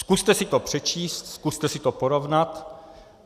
Zkuste si to přečíst, zkuste si to porovnat.